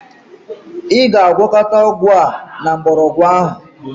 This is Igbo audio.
Ị ga-agwakọta ọgwụ a na mgbọrọgwụ ahụ.